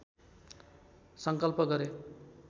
सङ्कल्प गरे